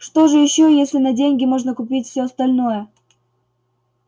что же ещё если на деньги можно купить всё остальное